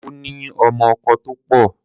Ó ní ọmọ-ọkọ tó pọ̀.